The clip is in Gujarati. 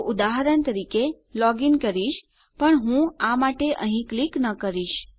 તો ઉદાહરણ તરીકે હું લોગ ઇન કરવા જઈ રહ્યો છું પણ હું આ માટે અહીં ક્લિક ન કરીશ